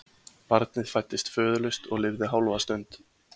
Barnið fæddist föðurlaust og lifði hálfa stund.